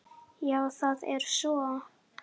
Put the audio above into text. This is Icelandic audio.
Já það er svo.